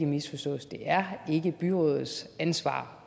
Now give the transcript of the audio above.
misforstås det er ikke byrådets ansvar